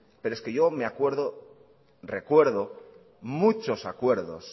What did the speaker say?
pero es que yo recuerdo muchos acuerdos